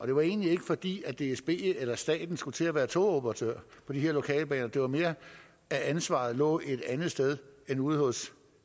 det var egentlig ikke fordi dsb eller staten skulle til at være togoperatør på de her lokalbaner det var mere at ansvaret lå et andet sted end ude hos